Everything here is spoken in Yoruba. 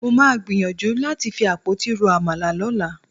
Mo máa gbìyànjú láti fi àpótí ro àmàlà lọ́la.